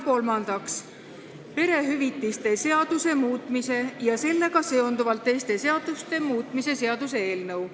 Kolmandaks, perehüvitiste seaduse muutmise ja sellega seonduvalt teiste seaduste muutmise seaduse eelnõu.